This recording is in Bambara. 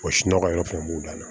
nɔgɔ fɛnɛ b'u dan na